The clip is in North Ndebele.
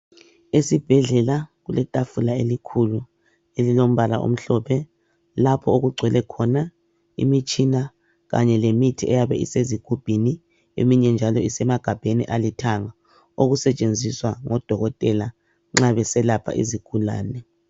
Esibhedlela kuletafula elikhulu elilombala omhlophe lapho okugcwele khona imitshina kanye lemithi eyabe isezigubhini eminye njalo esemagabheni alithanga okusetshenziswa ngodokotela nxa beselapha izigulane.